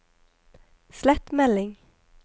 slett melding